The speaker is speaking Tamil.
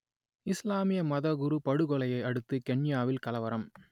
இஸ்லாமிய மதகுரு படுகொலையை அடுத்து கென்யாவில் கலவரம்